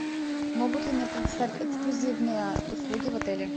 могут ли мне предоставить эксклюзивные услуги в отеле